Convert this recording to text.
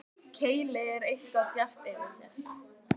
Keili er eitthvað bjart yfir þér.